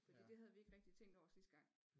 Fordi det havde vi ikke rigtigt tænkt over sidste gang